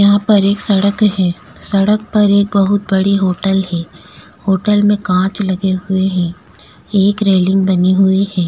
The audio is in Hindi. यहां पर एक सड़क है सड़क पर एक बहुत बड़ी होटल है होटल में कांच लगे हुए हैं एक रेलिंग बनी हुई है।